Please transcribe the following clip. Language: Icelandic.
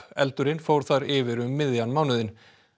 eldurinn fór þar yfir um miðjan mánuðinn